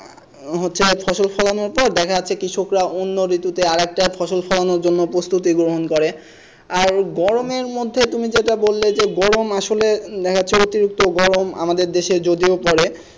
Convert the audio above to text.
উম হচ্ছে এক ফসল ফলানো হতো দেখা যাচ্ছে কৃষকরা অন্য ঋতুতে আরেকটা ফসল ফলানোর জন্য প্রস্তুতি গ্রহণ করে আর গরমের মধ্যে তুমি যেটা বললে যে গরম আসলে natural অতিরিক্ত গরম আমাদের দেশে যদিও গরম পড়ে,